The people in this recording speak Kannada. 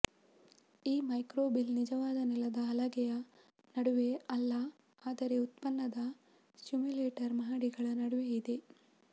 ಈ ಮೈಕ್ರೋಬೀಲ್ ನಿಜವಾದ ನೆಲದ ಹಲಗೆಯ ನಡುವೆ ಅಲ್ಲ ಆದರೆ ಉತ್ಪನ್ನದ ಸಿಮ್ಯುಲೇಟರ್ ಮಹಡಿಗಳ ನಡುವೆ ಇದೆ